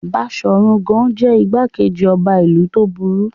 Baṣọ̀run Gáà jẹ́ ìgbákejì ọba ìlú tó burú.